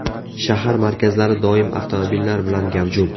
Shahar markazlari doim avtomobillar bilan gavjum.